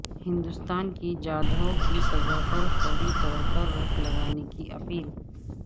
ہندستان کی جادھو کی سزا پر فوری طورپر روک لگانے کی اپیل